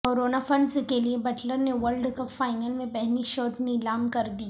corona fund کے لیے Butler نے ورلڈ کپ فائنل میں پہنی شرٹ نیلام کر دی